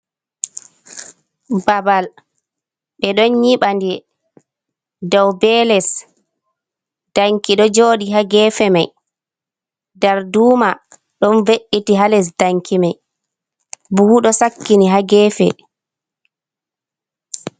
Babal, ɓe ɗon nyiɓande, dow be les, danki ɗo jooɗi haa geefe may, darduma ɗon ve’iti haa les danki may, buhu ɗo sakkini haa geefe.